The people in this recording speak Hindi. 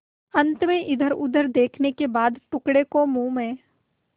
अंत में इधरउधर देखने के बाद टुकड़े को मुँह में